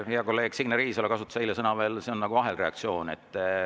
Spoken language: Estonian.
Hea kolleeg Signe Riisalo kasutas eile veel võrdlust, et see on nagu ahelreaktsioon.